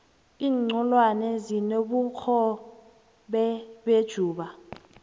inxholwane zinobukhobe nejuba